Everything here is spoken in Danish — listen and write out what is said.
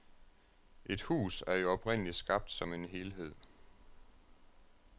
Et hus er jo oprindelig skabt som en helhed.